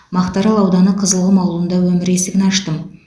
мақтаарал ауданы қызылқұм ауылында өмір есігін аштым